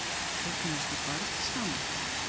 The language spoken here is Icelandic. Eignuðust þau barn saman?